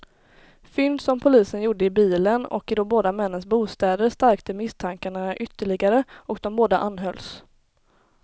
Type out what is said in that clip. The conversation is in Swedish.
Fynd som polisen gjorde i bilen och i de båda männens bostäder stärkte misstankarna ytterligare och de båda anhölls.